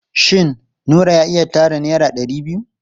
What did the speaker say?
Shin Nura ya iya tara naira ɗari biyu?